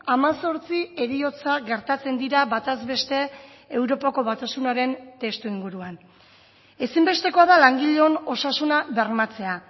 hemezortzi heriotza gertatzen dira bataz beste europako batasunaren testuinguruan ezinbestekoa da langileon osasuna bermatzea